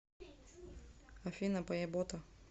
афина поебота